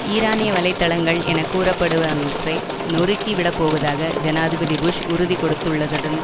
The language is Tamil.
ஈரானிய வலை தளங்கள் என கூறப்படுவனவற்றை நொருக்கிவிடப்போவதாக ஜனாதிபதி புஷ் உறுதி கொடுத்துள்ளதுடன்